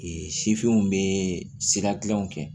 sifinw bɛ sira kelenw kɛ